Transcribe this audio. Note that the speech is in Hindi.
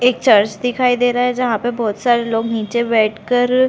एक चर्च दिखाई दे रहा है जहाँ पे बहोत सारे लोग नीचे बैठ कर--